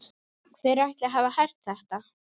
Hver ætli hafi hert þetta?